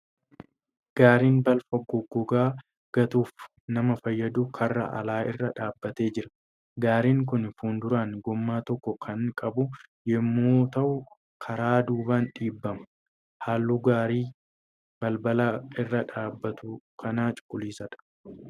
Gaariin balfa goggogaa gatuuf nama fayyadu karra alaa irra dhaabbatee jira. Gaariin kun fuulduraan gommaa tokko kan qabu yemmuu ta'u karaa duubaan dhiibbama. Halluun gaarii balbala irra dhaabbatu kanaa cuquliisadha.